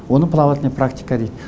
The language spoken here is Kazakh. оны плавательный практика дейді